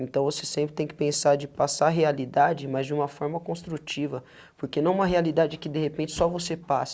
Então, você sempre tem que pensar de passar a realidade mais de uma forma construtiva, porque não uma realidade que, de repente, só você passe.